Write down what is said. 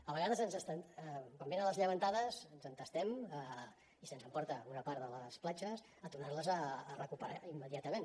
a vegades quan venen les llevantades ens entestem i se’ns emporta una part de les platges a tornar les a recuperar immediatament